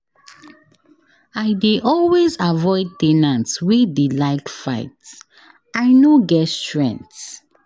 I dey always avoid ten ants wey dey like fight, I no get strength.